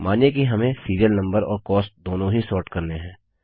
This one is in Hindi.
मानिए कि हमें सीरियल नम्बर और कॉस्ट दोनों ही सॉर्ट करने हैं